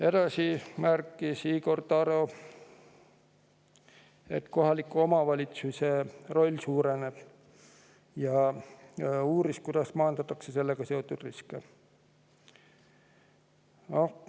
Edasi märkis Igor Taro, et kohaliku omavalitsuse roll suureneb, ja uuris, kuidas maandatakse sellega seotud riske.